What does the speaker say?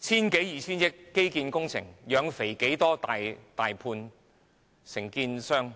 千多二千億元，"養肥"多少大判承建商？